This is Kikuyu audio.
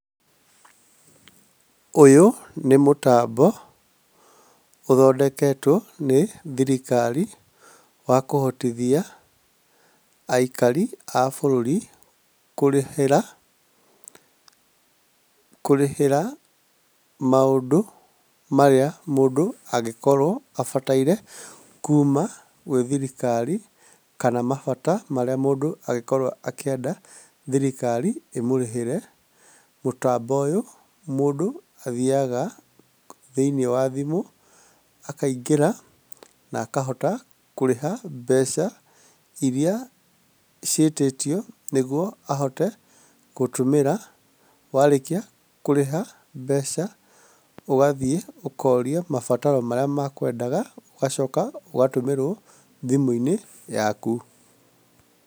Ũyũ nĩ mũtambo ũthondeketwo nĩ thirikari wa kũhotithia aikari a bũrũri kũrĩhĩra kũrĩhĩra maũndũ marĩa mũndũ angĩkorwo abataire kuuma gwĩ thirikari kana mabata marĩa mũndũ angĩkorwo akĩenda thirikari ĩmũrĩhĩre. Mũtambo ũyũ mũndũ athiaga thĩinĩ wa thimũ akaingĩra na akahota kũrĩha mbeca iria ciĩtĩtio nĩguo ahote gũtũmĩra. Warĩkia kũrĩha mbeca ũgathiĩ ũkorio mabataro marĩa makwendaga ũgacoka ũgatũmĩrwo thimũ-inĩ yaku.